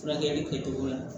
Furakɛli kɛtogo la